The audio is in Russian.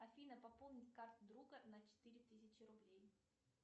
афина пополнить карту друга на четыре тысячи рублей